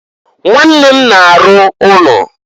Nwanne m na-arụ ụnọ.